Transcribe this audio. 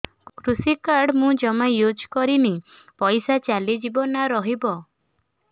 କୃଷି କାର୍ଡ ମୁଁ ଜମା ୟୁଜ଼ କରିନି ପଇସା ଚାଲିଯିବ ନା ରହିବ